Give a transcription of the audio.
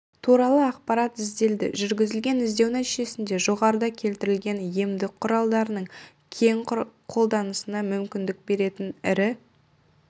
туралы ақпарат ізделді жүргізілген іздеу нәтижесінде жоғарыда келтірілген емдік құралдарының кең қолданысына мүмкіндік беретін ірі